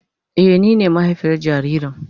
Eh, ni ne mahaifiyar jaririn.